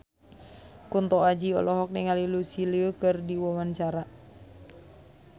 Kunto Aji olohok ningali Lucy Liu keur diwawancara